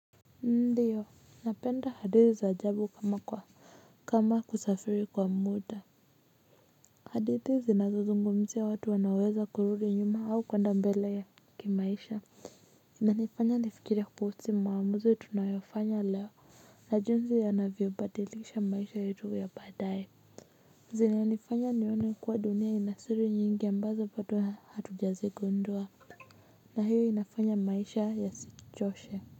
Ndio napenda hadithi za ajabu kama kwa kama kusafiri kwa muda. Hadithi zinazozungumzia watu wanaoweza kurudi nyuma au kuenda mbele ya kimaisha. Inanifanya nifikirie kuhusu maamuzi tunayofanya leo na jinsi yanavyobadilisha maisha yetu ya baadaye. Zinanifanya nione kuwa dunia ina siri nyingi ambazo bado hatujazigundua na hiyo inafanya maisha yasichoshe.